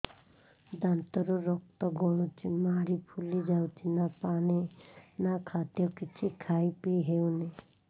ଦାନ୍ତ ରୁ ରକ୍ତ ଗଳୁଛି ମାଢି ଫୁଲି ଯାଉଛି ନା ପାଣି ନା ଖାଦ୍ୟ କିଛି ଖାଇ ପିଇ ହେଉନି